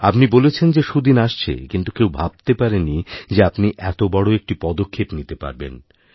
আপনি বলেছিলেন যে সুদিন আসছেকিন্তু কেউ ভাবতে পারেনি যে আপনি এত বড় একটি পদক্ষেপ নিতে পারবেন